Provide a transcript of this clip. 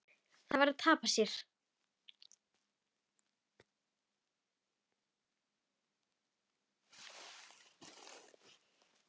Það var að tapa sér.